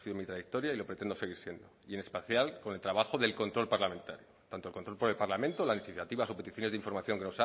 lo he sido en mi trayectoria y lo pretendo seguir siendo y en especial con el trabajo del control parlamentario tanto el control por el parlamento en las iniciativas o peticiones de información que